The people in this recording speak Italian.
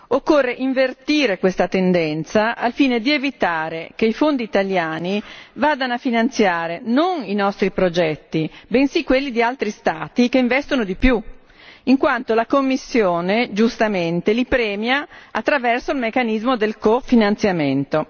Occorre invertire questa tendenza al fine di evitare che i fondi italiani vadano a finanziare non i nostri progetti, bensì quelli di altri Stati che investono di più, in quanto la Commissione, giustamente, li premia attraverso il meccanismo del cofinanziamento.